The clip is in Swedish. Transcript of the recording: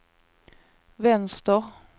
vänster